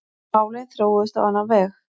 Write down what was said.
Málin þróuðust á annan veg.